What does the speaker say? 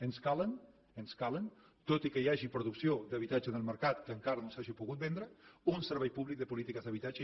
ens calen ens calen tot i que hi hagi producció d’habitatges en el mercat que encara no s’hagin pogut vendre uns serveis públics de polítiques d’habitatge